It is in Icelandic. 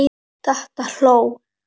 Dadda hló.